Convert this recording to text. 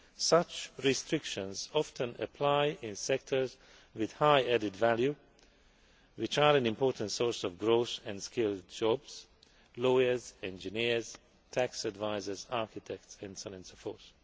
Such restrictions often apply in sectors with high added value, which are an important source of growth and skilled jobs lawyers, engineers, tax advisers, architects and so on and so forth.